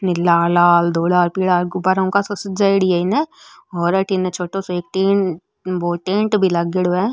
नीला लाल धोला पीला गुब्बारों कासो सजाई योडी है एने और अठीने छोटो सो एक टेन वो टेंट भी लागेड़ो है।